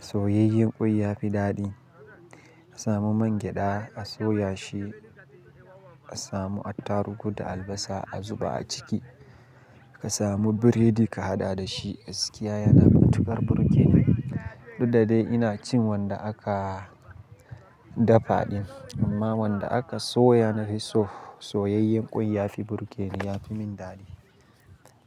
Soyayyen ƙwai ya fi daɗi. Ka samu man gyaɗa a soya shi, ka samu attarugu da albasa a zuba a ciki. Ka samu biredi ka haɗa da shi. Gaskiya yana matuƙar burgeni. Duk da dai ina cin wanda aka dafa ɗin, amma wanda aka soya na fi so. Soyayyen ƙwai ya fi burgeni, ya fi min daɗi.